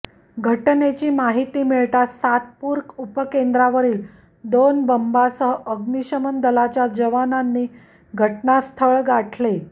घटनेची माहिती मिळताच सातपुर उपकेंद्रावरील दोन बंबांसह अग्नीशमन दलाच्या जवानांनी घटनास्थळ गाठले